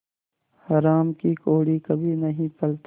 हराम की कौड़ी कभी नहीं फलती